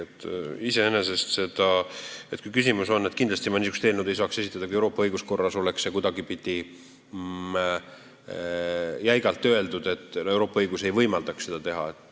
Kindlasti ei saaks ma niisugust eelnõu esitada, kui Euroopa õiguskorras oleks kuidagipidi jäigalt sätestatud, et seda ei või teha.